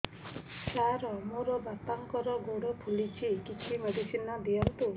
ସାର ମୋର ବାପାଙ୍କର ଗୋଡ ଫୁଲୁଛି କିଛି ମେଡିସିନ ଦିଅନ୍ତୁ